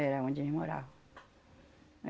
Era aonde eles moravam.